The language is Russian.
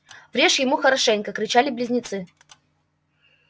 врежь ему хорошенько кричали близнецы